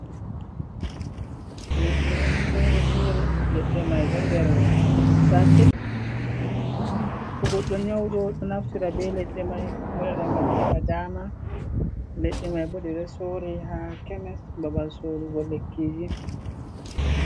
Leɗɗe on fere-fere. Leɗɗe mai do nder sacet to goɗɗo nyauɗo ɗo naftira be leɗɗe mai moɗira ngam heɓa dama. Leɗɗe mai bo ɗeɗo sore ha kemis babal sorugo lekkiji.